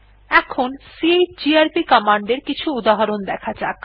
এখন chgrp command এর কিছু উদাহরণ দেখা যাক